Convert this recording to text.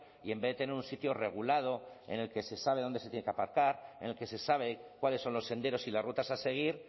y en vez de tener un sitio regulado en el que se sabe dónde se tienen que aparcar en el que se sabe cuáles son los senderos y las rutas a seguir